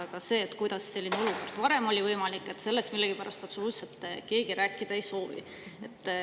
Aga sellest, kuidas selline olukord varem oli võimalik, millegipärast absoluutselt keegi rääkida ei soovi.